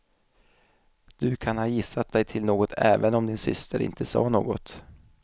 Du kan ha gissat dig till något även om din syster inte sa något.